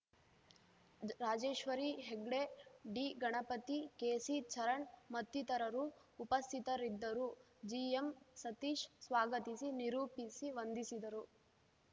Rajeshwari Hegde D Ganapati KC Charan ಮತ್ತಿತರರು ಉಪಸ್ಥಿತರಿದ್ದರು ಜಿಎಂಸತೀಶ್‌ ಸ್ವಾಗತಿಸಿ ನಿರೂಪಿಸಿ ವಂದಿಸಿದರು